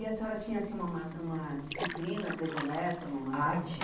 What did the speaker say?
E a senhora tinha, assim, uma uma uma disciplina predileta, uma matéria?